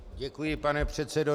Děkuji, pane předsedo.